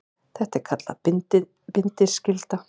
Þetta er kallað bindiskylda.